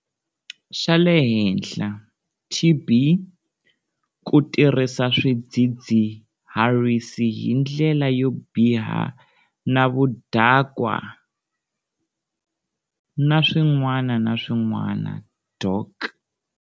Xa le henhla, TB, ku tirhisa swidzidziharisi hi ndlela yo biha na vudakwa, na swin'wana na swin'wana, Dok.